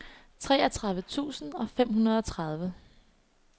treogtredive tusind og femogtredive